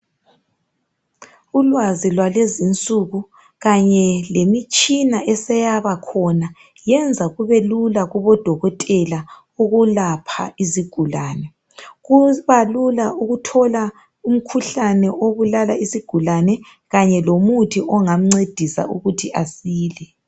Ulwazi lwalezi nsuku kanye lemitshini eseyabakhona yenza kubelula kubodokotela ukulapha izigulane kuba lula ukuthola umkhuhlane obulala isigulani kanye lomuthi ongamncedisa ukuthi asile